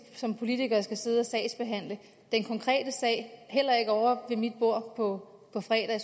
som politikere skal sidde og sagsbehandle den konkrete sag heller ikke ovre ved mit bord på fredag